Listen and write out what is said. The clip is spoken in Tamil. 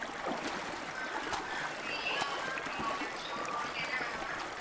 ஆஹ் hello ma'am இது A R N mobile store உங்களுக்கு என்ன வேணும் ma'am